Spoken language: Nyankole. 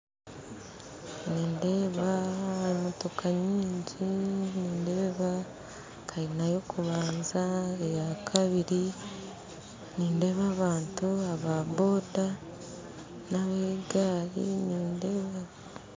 Nindeeba emotooka nyingi nindeeba kayina y'okubanza, ey'akabiiri nindeeba abantu aba boda n'ab'egari nindeeba